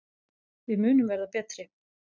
Við munum verða betri.